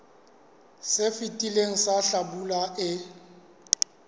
se fetileng sa hlabula e